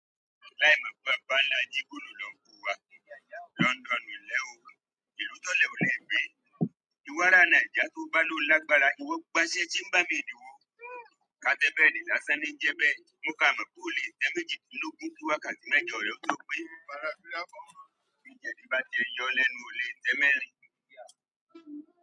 Láìmọ̀ bá nlá, jígbónu lọ́ ń kó wa; London nì lẹ́'òò, ìlú tólẹ ò lẹ gbé. Ìwárà Naija tó bá ló lágbára, ìwọ gbáṣẹ́ timber made wo. Ká tẹ́ bed lásán ni ń jẹ bẹ́ẹ̀, mo kà mọ̀ pé ó lè tẹ́ méjìdínlógún kí wákàtí mẹ́jọ lọ́ jọ pé. Bí jẹ̀dí bá ti n yọ ẹ lẹ́nu, ó lè tẹ́ mẹ́rin.